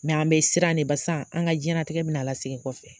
an bɛ siran ne basan an ŋa diɲɛnatigɛ bɛna lasegin kɔfɛ.